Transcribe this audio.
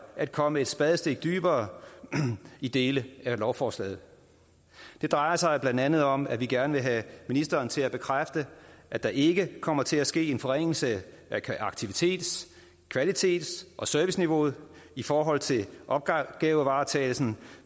at komme et spadestik dybere i dele af lovforslaget det drejer sig blandt andet om at vi gerne vil have ministeren til at bekræfte at der ikke kommer til at ske en forringelse af aktivitets kvalitets og serviceniveauet i forhold til opgavevaretagelsen